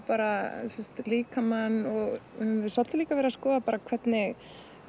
bara líkamann og við höfum svolítið líka verið að skoða hvernig